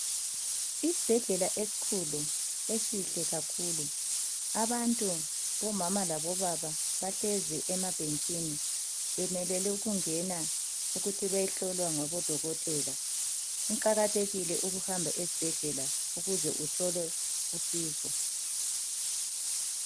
Isibhedlela esikhulu, esihle kakhulu. Abantu omama labobaba bahlezi emabhentshini bemelele ukungena ukuthi beyehlolwa ngudokotela. Kuqakathekile ukuhamba esibhedlela ukuze uthole usizo.